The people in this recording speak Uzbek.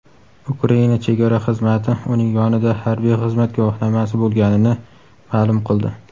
Ukraina chegara xizmati uning yonida harbiy xizmat guvohnomasi bo‘lganini ma’lum qildi.